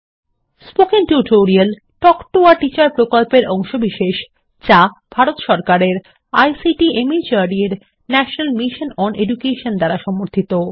spoken tutorial talk to a teacher প্রকল্পের অংশবিশেষ যা ভারত সরকারের আইসিটি মাহর্দ এর ন্যাশনাল মিশন ওন এডুকেশন দ্বারা সমর্থিত